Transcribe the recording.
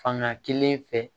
Fanga kelen fɛ